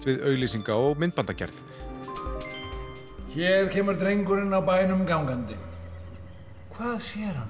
við auglýsinga og myndbandagerð hér kemur drengurinn á bænum gangandi hvað sér hann